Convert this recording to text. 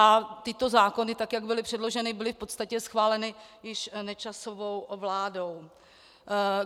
A tyto zákony, tak jak byly předloženy, byly v podstatě schváleny již Nečasovou vládou.